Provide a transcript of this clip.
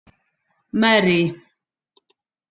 Marie